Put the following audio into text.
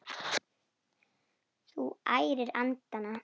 Þú ærir andana!